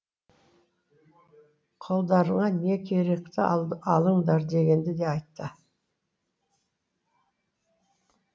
қолдарыңа не керекті алыңдар дегенді де айтты